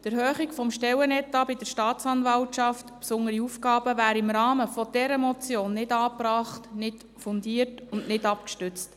Die Erhöhung des Stellenetats der Staatsanwaltschaft im Bereich besondere Aufgaben wäre im Rahmen dieser Motion nicht angebracht, nicht fundiert und nicht abgestützt.